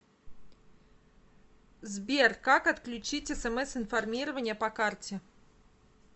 сбер как отключить смс информирование по карте